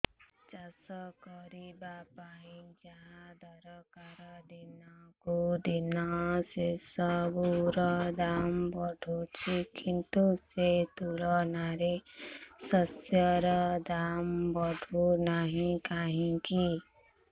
ଚାଷ କରିବା ପାଇଁ ଯାହା ଦରକାର ଦିନକୁ ଦିନ ସେସବୁ ର ଦାମ୍ ବଢୁଛି କିନ୍ତୁ ସେ ତୁଳନାରେ ଶସ୍ୟର ଦାମ୍ ବଢୁନାହିଁ କାହିଁକି